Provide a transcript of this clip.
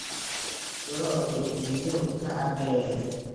Lo'du biyo ma cabbeen?